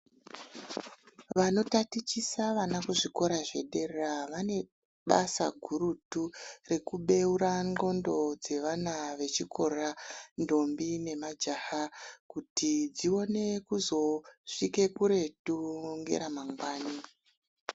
Vanotatichisa vana kuzvikora zvedera vane basa gurutu rekubeura ndxondo dzevana vechikora ntombi nemajaha kuti dzione kuzosvike kuretu ngeramangwani.